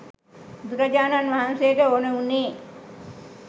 බුදුරජාණන් වහන්සේට ඕන වුණේ